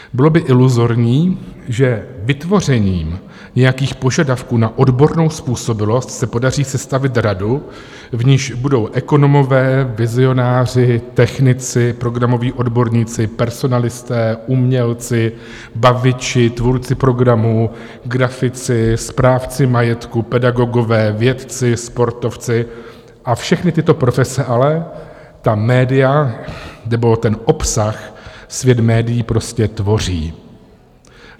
Bylo by iluzorní, že vytvořením nějakých požadavků na odbornou způsobilost se podaří sestavit radu, v níž budou ekonomové, vizionáři, technici, programoví odborníci, personalisté, umělci, baviči, tvůrci programu, grafici, správci majetku, pedagogové, vědci, sportovci a všechny tyto profese, ale ta média nebo ten obsah svět médií prostě tvoří.